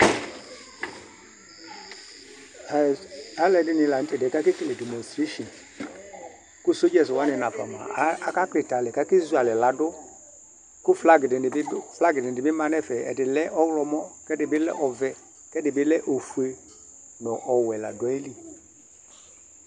Zl7b3d8ŋi lanʊtɛ kake kele demonstration kʊ sodzɛs wanɩ nafa mʊa aka klitɛ alɛ ka kezʊ alɛvladʊ Kʊ flag dinɩ bʊ ma ŋʊ ɛfɛ Ɛdɩ lɛ ɔwlɔmɔ, k3dɩɓɩ lɛ ɔʋ3, kɛdɩɓɩ lɛ ofʊe ŋʊ ɔwɛ la dʊ aƴɩlɩ